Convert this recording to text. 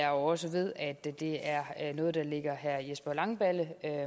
jo også ved at det det er noget der ligger herre jesper langballe